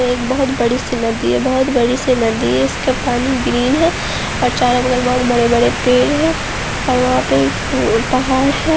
ये एक बहुत बड़ी सी नदी है बहुत बड़ी सी नदी है इसका पानी ग्रीन है चारो तरफ बड़े-बड़े पेड़ है और वहां पे पहाड़ है।